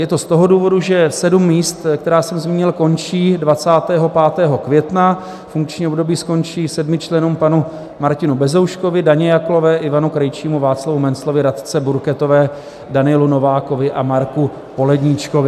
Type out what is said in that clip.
Je to z toho důvodu, že sedm míst, která jsem zmínil, končí 25. května, funkční období skončí sedmi členům - panu Martinu Bezouškovi, Daně Jaklové, Ivanu Krejčímu, Václavu Menclovi, Radce Burketové, Danielu Novákovi a Marku Poledníčkovi.